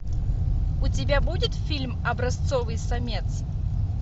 у тебя будет фильм образцовый самец